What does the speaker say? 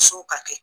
Musow ka kɛ